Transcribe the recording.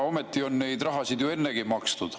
Ometi on neid rahasid ju ennegi makstud.